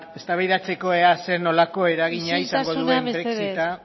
eztabaidatzeko ea zer nolako eragina izango duen brexita